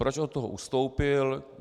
Proč od toho ustoupil?